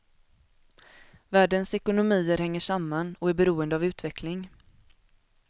Världens ekonomier hänger samman och är beroende av utveckling.